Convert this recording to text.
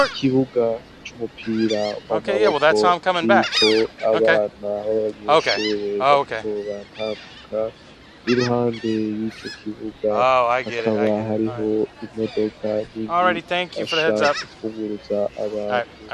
Ikibuga c'umupira wamaboko kiko abana b'abanyeshure bariko batambuka i ruhande y'ico kibuga hakaba hariho imodoka nini ifasha mu kwunguruza abantu.